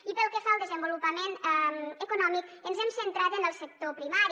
i pel que fa al desenvolupament econòmic ens hem centrat en el sector primari